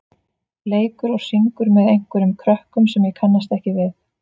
leikur og syngur með einhverjum krökkum sem ég kannast ekki við.